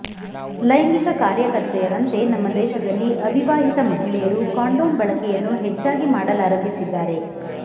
ಲೈಂಗಿಕ ಕಾರ್ಯಕರ್ತೆಯರಂತೆ ನಮ್ಮ ದೇಶದಲ್ಲಿ ಅವಿವಾಹಿತ ಮಹಿಳೆಯರು ಕಾಂಡೋಮ್ ಬಳಕೆಯನ್ನು ಹೆಚ್ಚಾಗಿ ಮಾಡಲಾರಂಭಿಸಿದ್ದಾರೆ